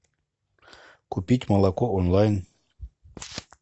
купить молоко онлайн